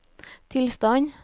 tilstand